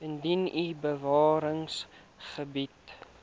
indien u bewaringsgebiede